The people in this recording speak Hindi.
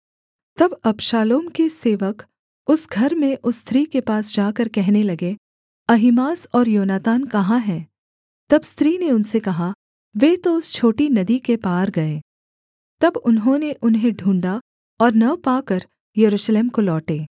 तब अबशालोम के सेवक उस घर में उस स्त्री के पास जाकर कहने लगे अहीमास और योनातान कहाँ हैं तब स्त्री ने उनसे कहा वे तो उस छोटी नदी के पार गए तब उन्होंने उन्हें ढूँढ़ा और न पाकर यरूशलेम को लौटे